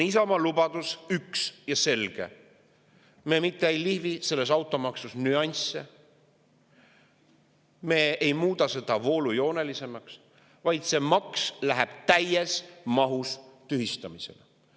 Isamaa lubadus on üks ja selge: me mitte ei lihvi automaksu nüansse, me ei muuda seda voolujoonelisemaks, vaid see maks läheb täies mahus tühistamisele.